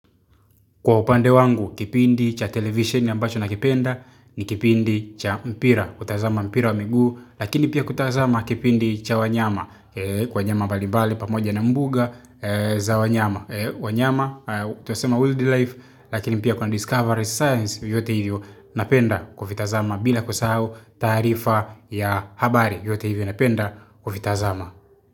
Kwa upande wangu, kipindi cha televisheni ambacho na kipenda ni kipindi cha mpira, kutazama mpira wa miguu, lakini pia kutazama kipindi cha wanyama, kwa wanyama mbalimbali pamoja na mbuga za wanyama, wanyama twasema wild life, lakini pia kwa discovery science yote hivyo napenda kuvitazama bila kusahau taarifa ya habari yote hivyo napenda kuvitazama.